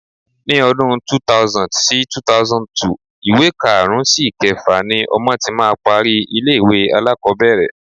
Ni ọdún 2000 sí 2002, ìwé karùn-ún sí ìkẹfà ni ọmọ tí máa parí ilé-ìwé alákọ̀ọ́bẹ̀rẹ̀.